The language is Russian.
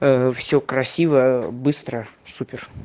ээ всё красиво быстро супер